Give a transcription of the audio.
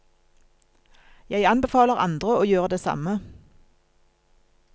Jeg anbefaler andre å gjøre det samme.